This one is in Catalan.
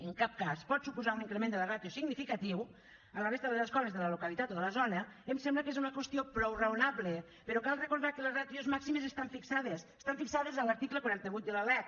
en cap cas pot suposar un increment de la ràtio significatiu a la resta de les escoles de la localitat o de la zona em sembla que és una qüestió prou raonable però cal recordar que les ràtios màximes estan fixades estan fixades a l’article quaranta vuit de la lec